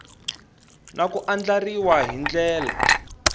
na ku andlariwa hi ndlela